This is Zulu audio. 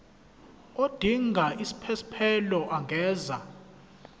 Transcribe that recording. odinga isiphesphelo angenza